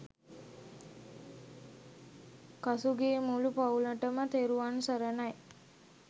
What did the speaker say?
කසුගේ මුළු පවුලටම තෙරුවන් සරණයි